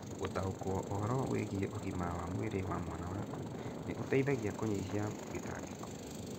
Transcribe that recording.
Gũtaũko ũhoro wĩgie ũgima wa mwĩrĩ wa mwana waku nĩ ũteithagia kũnyihia gĩtangĩko.